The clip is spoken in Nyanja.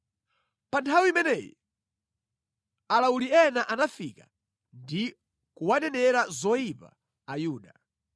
Pa nthawi imeneyi alawuli ena anafika ndi kuwanenera zoyipa Ayuda.